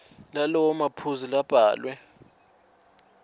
lalawo maphuzu labhalwe